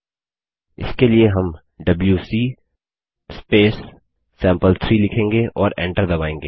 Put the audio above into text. इसके लिए हम डबल्यूसी सैंपल3 लिखेंगे और एन्टर दबायेंगे